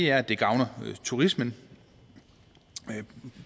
er at det gavner turismen